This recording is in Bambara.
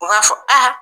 U b'a fɔ a